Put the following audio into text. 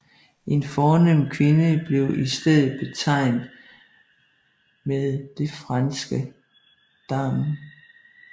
En fornem kvinde blev i stedet betegnet med det franske dame